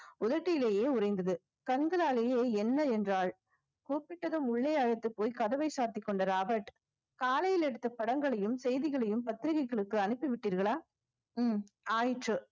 உறைந்தது கண்களாலேயே என்ன என்றால் கூப்பிட்டதும் உள்ளே அழைத்துப் போய் கதவை சாத்திக் கொண்ட ராபர்ட் காலையில் எடுத்த படங்களையும் செய்திகளையும் பத்திரிகைகளுக்கு அனுப்பி விட்டீர்களா ஹம் ஆயிற்று